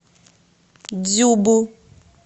дзюбу